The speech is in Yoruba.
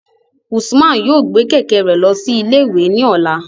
Usman yoo gbe kẹ̀kẹ́ rẹ lọ si ile-iwe ni ọla